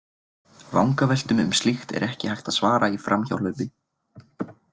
Vangaveltum um slíkt er ekki hægt að svara í framhjáhlaupi.